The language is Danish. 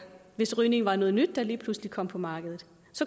hvis rygning var noget nyt der lige pludselig kom på markedet